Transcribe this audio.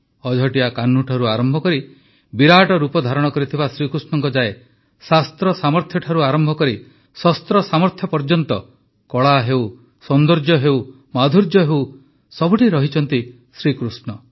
ଅଝଟିଆ କାହ୍ନୁଠାରୁ ଆରମ୍ଭ କରି ବିରାଟ ରୂପ ଧାରଣ କରିଥିବା ଶ୍ରୀକୃଷ୍ଣଙ୍କ ଯାଏ ଶାସ୍ତ୍ର ସାମର୍ଥ୍ୟଠାରୁ ଆରମ୍ଭ କରି ଶସ୍ତ୍ର ସାମର୍ଥ୍ୟ ପର୍ଯ୍ୟନ୍ତ କଳା ହେଉ ସୌନ୍ଦର୍ଯ୍ୟ ହେଉ ମାଧୁର୍ଯ୍ୟ ହେଉ ସବୁଠି ରହିଛନ୍ତି ଶ୍ରୀକୃଷ୍ଣ